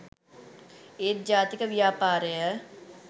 ඒත් ජාතික ව්‍යාපාරය